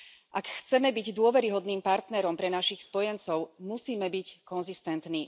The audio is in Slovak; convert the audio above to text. Ak chceme byť dôveryhodným partnerom pre našich spojencov, musíme byť konzistentní.